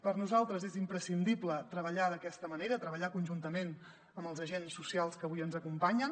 per nosaltres és imprescindible treballar d’aquesta manera treballar conjuntament amb els agents socials que avui ens acompanyen